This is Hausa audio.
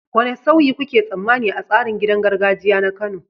Wane sauyi kuke tsammani a tsarin gidan gargajiya na Kano?